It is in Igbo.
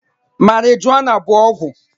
Marijuana bụ ọgwụ